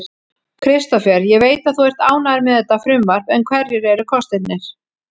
Kristófer, ég veit að þú ert ánægður með þetta frumvarp en hverjir eru kostirnir?